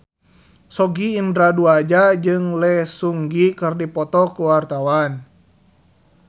Sogi Indra Duaja jeung Lee Seung Gi keur dipoto ku wartawan